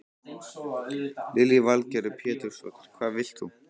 Lillý Valgerður Pétursdóttir: Hvað vilt þú?